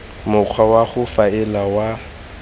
mokgwa wa go faela wa